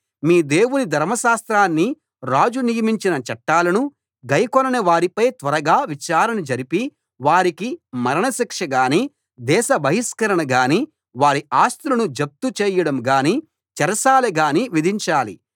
మీ దేవుని ధర్మశాస్త్రాన్ని రాజు నియమించిన చట్టాలను గైకొనని వారిపై త్వరగా విచారణ జరిపి వారికి మరణశిక్షగానీ దేశ బహిష్కరణగానీ వారి ఆస్తులను జప్తు చేయడం గానీ చెరసాల గానీ విధించాలి